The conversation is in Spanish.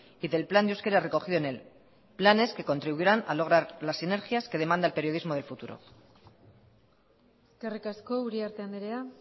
y del plan de euskera recogido en él planes que contribuirán a lograr las sinergias que demanda el periodismo del futuro eskerrik asko uriarte andrea